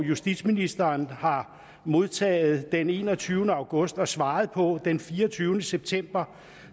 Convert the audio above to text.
justitsministeren har modtaget den enogtyvende august og svaret på den fireogtyvende september